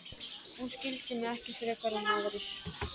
Hún skildi mig ekki frekar en aðrir.